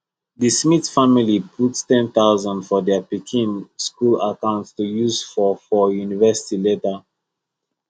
the smith family put 10000 for their pikin school account to use for for university later